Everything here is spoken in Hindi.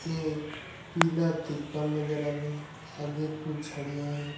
एक पीला तिरपाल नजर आ रहे हैं आगे कुछ झाड़ियां है।